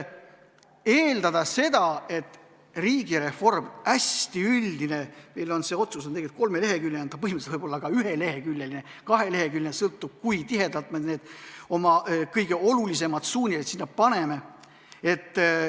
Meil on see otsus kolmeleheküljeline, aga ta võiks põhimõtteliselt olla ka ühe- või kaheleheküljeline, see sõltub sellest, kui tihedalt me kõige olulisemad suunised sinna kirja paneme.